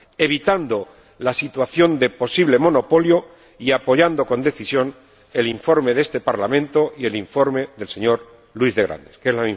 evitando una situación de posible monopolio y apoyando con decisión el informe de este Parlamento y el informe del señor de Grandes, que son